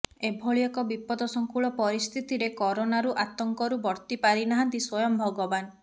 ଏଭଳି ଏକ ବିପଦସଙ୍କୁଳ ପରିସ୍ଥିତିରେ କରୋନାରୁ ଆତଙ୍କରୁ ବର୍ତ୍ତି ପାରିନାହାନ୍ତି ସ୍ବୟଂ ଭଗବାନ